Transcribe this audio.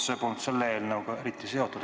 See polnud selle eelnõuga eriti seotud.